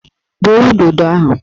Gbuo udodo ahụ!